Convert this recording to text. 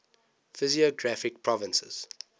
physiographic provinces